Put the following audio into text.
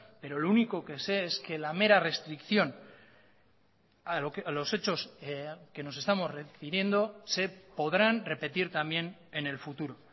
pero lo único que sé es que la mera restricción a los hechos que nos estamos refiriendo se podrán repetir también en el futuro